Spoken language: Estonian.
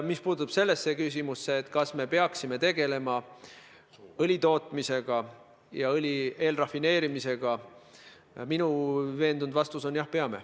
Mis puutub küsimusse, kas me peaksime tegelema õlitootmisega ja õli eelrafineerimisega, siis minu veendunud vastus on: jah, peame.